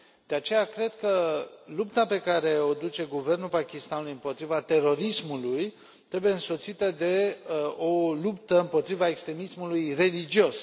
De aceea, cred că lupta pe care o duce guvernul Pakistanului împotriva terorismului trebuie însoțită de o luptă împotriva extremismului religios.